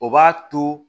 O b'a to